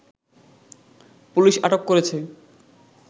police আটক করেছে